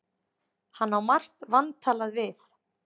Hann á margt vantalað við